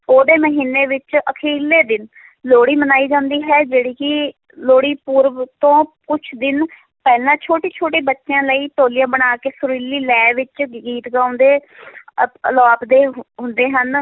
ਪੋਹ ਦੇ ਮਹੀਨੇ ਵਿੱਚ ਅਖ਼ੀਰਲੇ ਦਿਨ ਲੋਹੜੀ ਮਨਾਈ ਜਾਂਦੀ ਹੈ, ਜਿਹੜੀ ਕਿ ਲੋਹੜੀ ਪੁਰਬ ਤੋਂ ਕੁਛ ਦਿਨ ਪਹਿਲਾਂ, ਛੋਟੇ ਛੋਟੇ ਬੱਚਿਆਂ ਲਈ ਟੋਲੀਆਂ ਬਣਾ ਕੇ, ਸੁਰੀਲੀ ਲੈਅ ਵਿੱਚ ਗੀਤ ਗਾਉਂਦੇ ਅਤੇ ਅਲਾਪਦੇ ਹੁੰਦੇ ਹਨ।